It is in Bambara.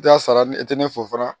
I ka sara ni i tɛ ne fo fana